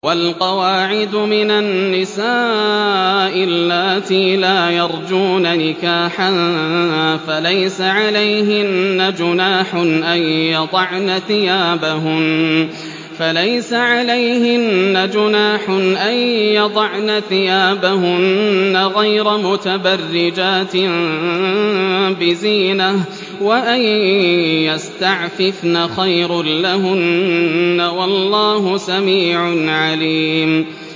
وَالْقَوَاعِدُ مِنَ النِّسَاءِ اللَّاتِي لَا يَرْجُونَ نِكَاحًا فَلَيْسَ عَلَيْهِنَّ جُنَاحٌ أَن يَضَعْنَ ثِيَابَهُنَّ غَيْرَ مُتَبَرِّجَاتٍ بِزِينَةٍ ۖ وَأَن يَسْتَعْفِفْنَ خَيْرٌ لَّهُنَّ ۗ وَاللَّهُ سَمِيعٌ عَلِيمٌ